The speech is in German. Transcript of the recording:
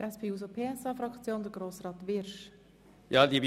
Für die SP-JUSO-PSA-Fraktion hat Grossrat Wyrsch das Wort.